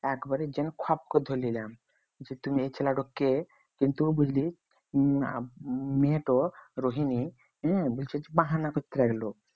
একবারে যেয়ে খপ করে ধরে নিলাম যে তুমি এই ছেলেটা কে? কিন্তু বুঝলি উহ আহ মেয়েটো রোহিনী হ্যাঁ বলছে যে বাহানা করতে লাগলো